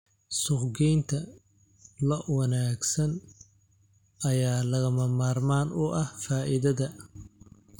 Suuqgeynta lo'da wanaagsan ayaa lagama maarmaan u ah faa'iidada.